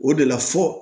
O de la fɔ